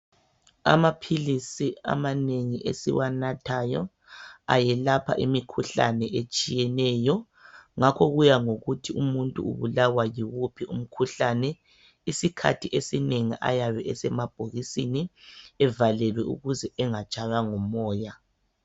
Amapilisi amanengi esiwanathayo ayelapha imikhuhlane etshiyeneyo ngakho kuya ngokuthi umuntu ubulawa yiwuphi umkhuhlane. Isikhathi esinengi ayabe esemabhokisini evalelwe ukuze engatshaywa ngumoya.